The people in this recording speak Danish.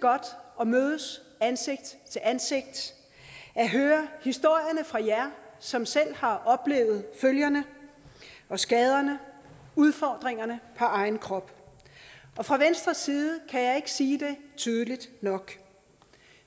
godt at mødes ansigt til ansigt at høre historierne fra jer som selv har oplevet følgerne og skaderne udfordringerne på egen krop fra venstres side kan jeg ikke sige det tydeligt nok